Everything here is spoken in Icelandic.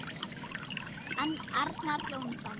Arnar Jónsson